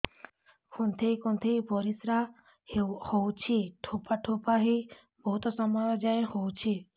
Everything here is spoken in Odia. କୁନ୍ଥେଇ କୁନ୍ଥେଇ ପରିଶ୍ରା ହଉଛି ଠୋପା ଠୋପା ହେଇ ବହୁତ ସମୟ ଯାଏ ହଉଛି